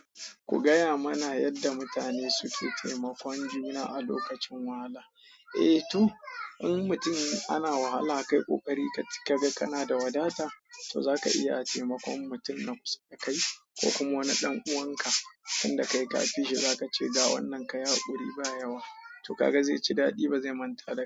Ku gaya mana yadda mutane suke taimakon juna a lokacin wahala. A to, in mutum ana wahala kai ƙoƙari kaga ka na da wadata to zaka iya taimakon mutum na kusa dakai, ko kuma wani ɗan uwanka. Tunda kai kafi shi za ka ce ga wannan ka yi haƙuri ba yawa to kaga zai ci daɗi ba zai manta da.